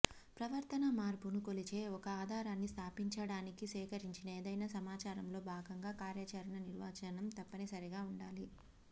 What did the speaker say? ప్రవర్తనా మార్పును కొలిచే ఒక ఆధారాన్ని స్థాపించడానికి సేకరించిన ఏదైనా సమాచారంలో భాగంగా కార్యాచరణ నిర్వచనం తప్పనిసరిగా ఉండాలి